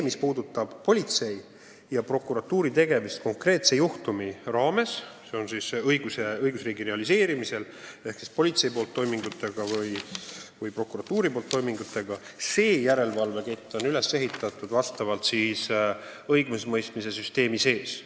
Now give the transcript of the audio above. Mis puudutab politsei ja prokuratuuri tegemisi konkreetse juhtumi raames, siis õigusriigis on politsei ja prokuratuuri toimingute üle järelevalve kett üles ehitatud õigusemõistmise süsteemi sees.